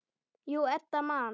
Jú, Edda man.